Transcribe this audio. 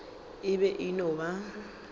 e be e no ba